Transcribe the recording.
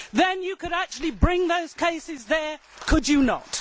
Then you could actually bring those cases there, could you not?